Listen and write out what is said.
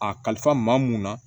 A kalifa maa mun na